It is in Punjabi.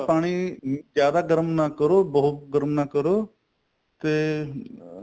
ਪਾਣੀ ਜਿਆਦਾ ਗਰਮ ਨਾ ਕਰੋ ਬਹੁਤ ਗਰਮ ਨਾ ਕਰੋ ਤੇ ਅਹ